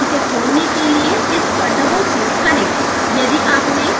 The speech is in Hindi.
यह यहाँ है इसे खोलने के लिए इस पर डबल क्लिक करें